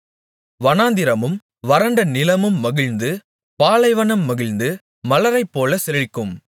வனாந்திரமும் வறண்ட நிலமும் மகிழ்ந்து பாலைவனம் மகிழ்ந்து மலரைப்போல செழிக்கும்